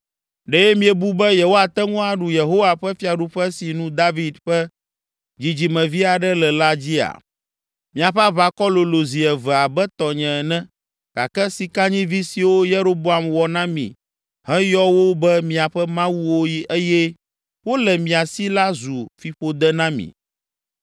Ɖe miebu be yewoate ŋu aɖu Yehowa ƒe fiaɖuƒe si nu David ƒe dzidzimevi aɖe le la dzia? Miaƒe aʋakɔ lolo zi eve abe tɔnye ene gake sikanyivi siwo Yeroboam wɔ na mi heyɔ wo be miaƒe mawuwo eye wole mia si la zu fiƒode na mi.